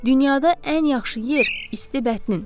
Dünyada ən yaxşı yer isti bətnin.